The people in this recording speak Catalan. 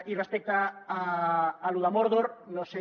i respecte al tema de mórdor no sé